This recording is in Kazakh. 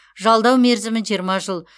жалдау мерзімі жиырма жыл